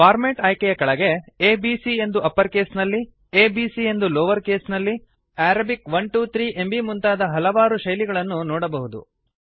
format ಆಯ್ಕೆಯ ಕೆಳಗೆ A B C ಎಂದು ಅಪ್ಪರ್ ಕೇಸ್ನಲ್ಲಿ a b c ಎಂದು ಲೋವರ್ ಕೆಸ್ ನಲ್ಲಿ ಅರಬಿಕ್ 1 2 3 ಎಂಬೀ ಮುಂತಾದ ಹಲವಾರು ಶೈಲಿ ಗಳನ್ನು ನೊಡಬಹುದು